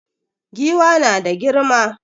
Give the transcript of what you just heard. Giwa na da girma